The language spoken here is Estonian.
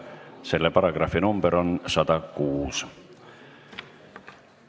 Selle paragrahvi number on 106.